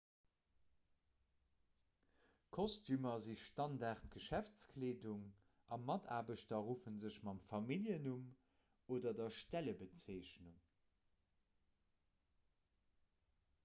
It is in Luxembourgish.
kostümer si standardgeschäftskleedung a mataarbechter ruffe sech mam familljennumm oder der stellebezeechnung